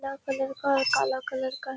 पीला कलर का और काला कलर का है।